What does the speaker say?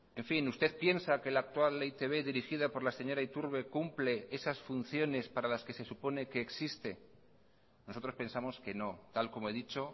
en fin usted piensa que la actual e i te be dirigida por la señora iturbe cumple esas funciones para las que se supone que existe nosotros pensamos que no tal como he dicho